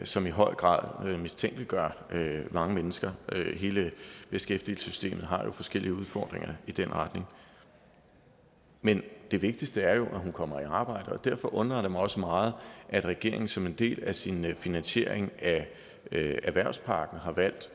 som i høj grad mistænkeliggør mange mennesker hele beskæftigelsessystemet har jo forskellige udfordringer i den retning men det vigtigste er jo at hun kommer i arbejde og derfor undrer det mig også meget at regeringen som en del af sin finansiering af erhvervspakken har valgt